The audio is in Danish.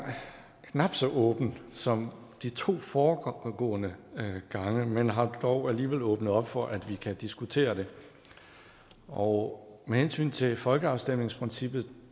knap så åben som de to foregående gange men har dog alligevel åbnet op for at vi kan diskutere det og med hensyn til folkeafstemningsprincippet